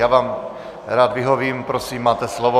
Já vám rád vyhovím, prosím, máte slovo.